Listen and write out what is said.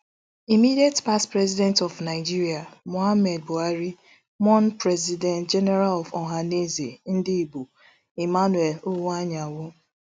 immediate past president of nigeria mohammed buhari mourn president general of ohanaeze ndigbo emmanuel iwuanyanwu